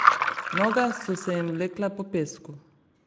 Noge so se jim vlekle po pesku.